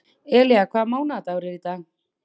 Elía, hvaða mánaðardagur er í dag?